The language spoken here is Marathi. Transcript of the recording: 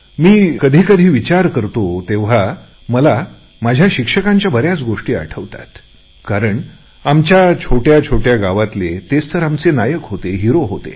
मी कधी कधी विचार करतो तेव्हा मला माझ्या शिक्षकांच्या बऱ्याच गोष्टी आठवतात कारण आमच्या छोटया गावातले तेच तर आमचे नायक होतेहिरो होते